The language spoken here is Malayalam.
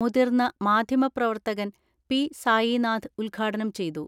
മുതിർന്ന മാധ്യമ പ്രവർത്തകൻ പി സായിനാഥ് ഉദ്ഘാ ടനം ചെയ്തു.